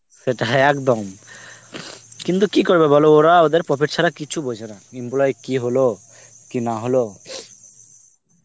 সেটাই হ্যাঁ একদম কিন্তু কি করবে বলো ওরা ওদের profit ছাড়া কিচ্ছু বোঝেনা. employee র কি হলো? কি না হল?